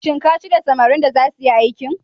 Shin ka shirya samarin da zasu yi aikin?